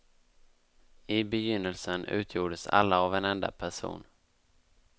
I begynnelsen utgjordes alla av en enda person.